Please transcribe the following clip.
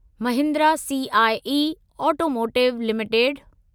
Mahindra CIE automotive limited